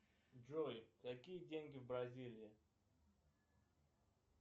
джой какие деньги в бразилии